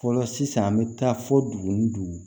Fɔlɔ sisan an bɛ taa fɔ dugu ni dugu